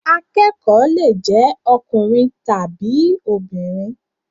Akẹ́kọ̀ọ́ lè jé ọkùnrin tàbí obìnrin.